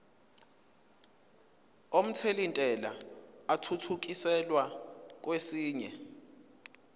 omthelintela athuthukiselwa kwesinye